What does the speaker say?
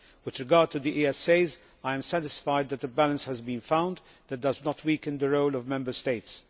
With regard to the ESAs, I am satisfied that a balance has been found that does not weaken the role of Member States.